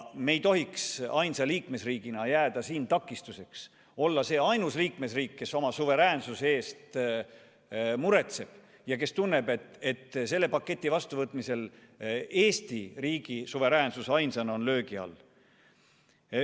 Me ei tohiks ainsa liikmesriigina jääda siin takistuseks, olla see ainus liikmesriik, kes oma suveräänsuse pärast muretseb ja kes tunneb, et selle paketi vastuvõtmisel Eesti riigi suveräänsus ainsana on löögi all.